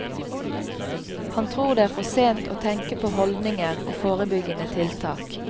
Han tror det er for sent å tenke på holdninger og forebyggende tiltak.